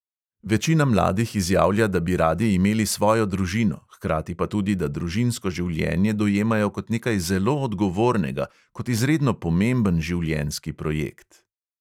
Večina mladih izjavlja, da bi radi imeli svojo družino, hkrati pa tudi, da družinsko življenje dojemajo kot nekaj zelo odgovornega, kot izredno pomemben življenjski projekt.